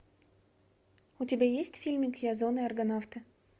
у тебя есть фильмик ясон и аргонавты